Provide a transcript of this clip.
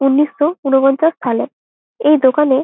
উনিশ সো উনপঞ্চাস সালে এই দোকানে--